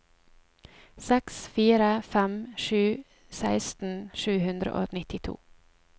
seks fire fem sju seksten sju hundre og nittito